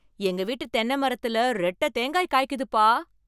எங்க வீட்டு தென்னை மரத்துல ரெட்டை தேங்காய் காய்க்குதுப்பா!